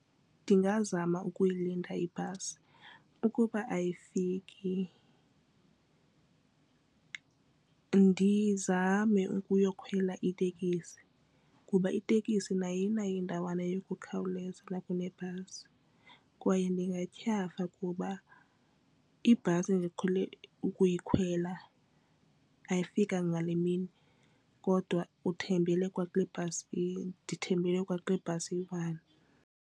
Ndingazama ukuyilinda ibhasi ukuba ayifiki ndizame ukuyokhwela itekisi kuba itekisi nayo inayo indawana yokukhawuleza nakune kunebhasi. Kwaye ndingathyafa kuba ibhasi ndiqhele ukuyikhwela ayifikanga ngale mini kodwa uthembele kwakule bhasi ndithembele kwakule bhasi iyi-one.